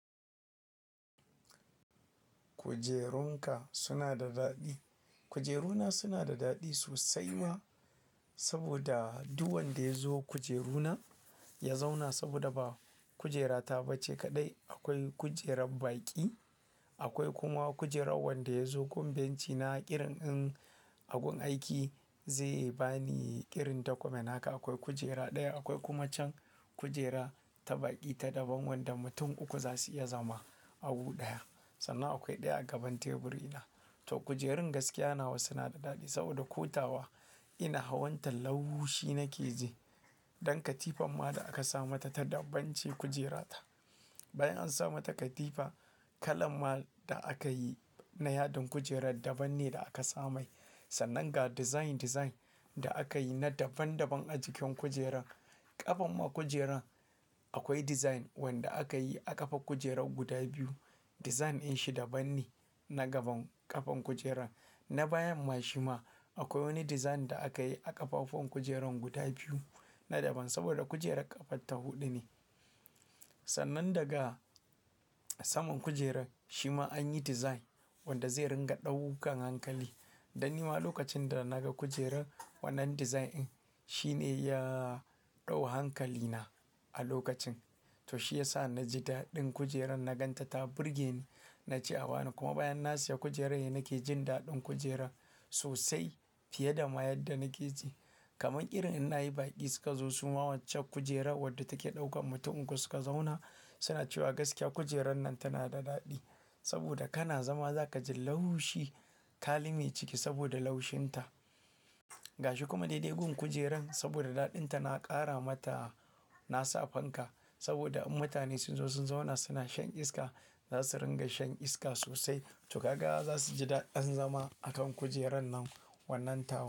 Kujerunka suna da daɗi. Kujeruna suna da daɗi sosai ma, saboda duk wanda ya zo kujeruna ya zauna saboda ba kujera ta ba ce kaɗai. Akwai kujerar baƙi, akwai kuma kujera wanda ya zo ƙungancina irin in a gun aiki zai ba ni irin document haka. Akwai kujera ɗaya, akwai kuma can kujera ta baƙi ta daban wanda mutum uku za su iya zama a gu ɗaya. Sannan akwai ɗaya a gaban teburi na. To kujerun gaskiya nawa suna da daɗi saboda ƙo tawa ina hawan ta laushi nake ji. Dan katifan ma da aka sa mata ta dabbance kujera ta. Bayan an sa mata katifa, kalan ma da aka yi na yadin kujera daban ne da aka sa mai. Sannan ga design-design da aka yi na daban-daban a jikin kujeran. Kafar ma kujeran akwai design wanda aka yi a ƙafar kujerar guda biyu. Design din shi daban ne na gaban ƙafan kujeran. Na bayan ma shi ma akwai wani design da aka yi a ƙafafuwan kujeran guda biyu na daban saboda kujerar ƙafan ta huɗu ne. Sannan daga saman kujerar shi ma an yi design wanda zai ringa ɗaukan hankali. Dan ni ma lokacin da na ga kujerar wannan design din, shi ne ya ɗau hankali na a lokacin. To shi ya sa na ji daɗin kujeran na gan ta ta burge ni. Na ce a bani kuma bayan na siya kujerar ne nake jin daɗin kujerar sosai fiye da ma yadda nake ji. Kaman irin in na yi baƙi suka zo suma waccan kujera wadda take ɗaukan mutum uku suka zauna suna cewa gaskiya kujerar nan tana da daɗi. Saboda kana zama za ka ji laushi. Ka lime ciki saboda laushin ta. Ga shi kuma dai-dai gun kujeran saboda daɗin ta na ƙara mata na sa fanka. Saboda in mutane sun zo sun zauna suna shan iska za su ringa shan iska sosai. To kaga za su ji daɗin zama a kan kujeran nan wannan tawan.